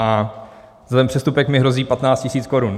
Za ten přestupek mi hrozí 15 000 korun.